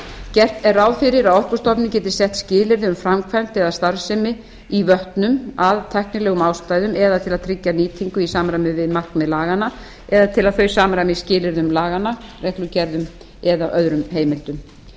gert er ráð fyrir að orkustofnun geti sett skilyrði um framkvæmd eða starfsemi í vötnum af tæknilegum ástæðum eða til að tryggja nýtingu í samræmi við markmið laganna eða til að þau samræmist skilyrðum laganna reglugerðum eða öðrum heimildum